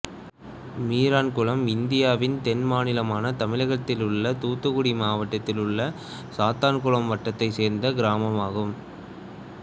மீரான்குளம் இந்தியாவின் தென் மாநிலமான தமிழகத்திலுள்ள தூத்துக்குடி மாவட்டத்திலுள்ள சாத்தான்குளம் வட்டத்தைச் சேர்ந்த கிராமமாகும்